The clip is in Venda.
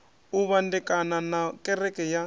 u vhandekana na kereke ya